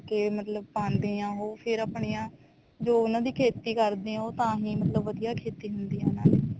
ਤੇ ਮਤਲਬ ਪਾਉਂਦੇ ਆ ਉਹ ਫ਼ੇਰ ਅਪਣਿਆ ਜੋ ਉਹਨਾ ਦੀ ਖੇਤੀ ਕਰਦੇ ਆ ਉਹ ਤਾਂਹੀ ਮਤਲਬ ਵਧੀਆ ਖੇਤੀ ਹੁੰਦੀ ਆ ਉਹਨਾ ਦੀ